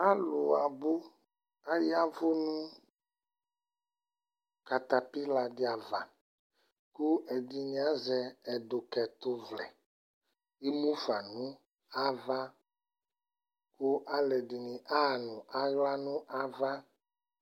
Alʋ abʋ : ayavʋ nʋ katapɩladɩ ava ; kʋ ɛdɩnɩ azɛ ɛdʋkɛtʋvlɛ Emufa nʋ ava , kʋ alʋɛdɩnɩ aɣa nʋ aɣla nʋ ava